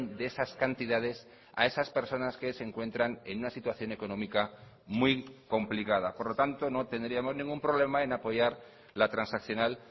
de esas cantidades a esas personas que se encuentran en una situación económica muy complicada por lo tanto no tendríamos ningún problema en apoyar la transaccional